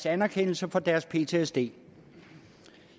anerkendelse for deres ptsd